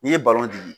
N'i ye balontan di